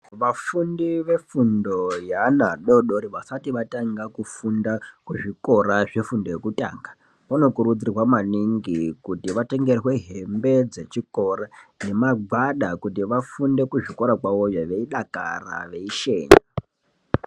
Vafundi vefundo yeana adodori vasati vatanga kufunda kuzvikora zvefundo yekutanga vanokurudzirwa maningi kuti varenge hembe dzechikora nemagwada kuti vafunde kuzvikora kwavoyo veidakara vesheni.